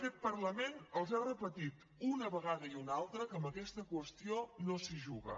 aquest parlament els ha repetit una vegada i una altra que amb aquesta qüestió no s’hi juga